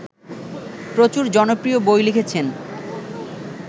প্রচুর জনপ্রিয় বই লিখেছেন